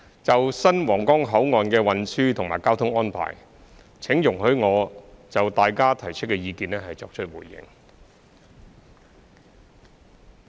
就新皇崗口岸的運輸及交通安排，請容許我就大家提出的意見作出回應。